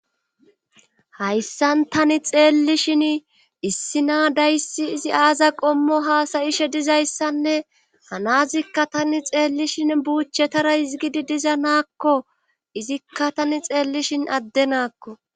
Hayssan tani xeellishin issi na dayssi izi aaza qommo haasayishe dizayssanne hanazikka tani xeellishin buuchetara izgidi diza naakko izikka tani xeellishin addenaakko.